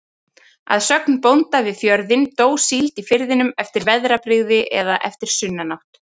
Að sögn bónda við fjörðinn, dó síld í firðinum eftir veðrabrigði eða eftir sunnanátt.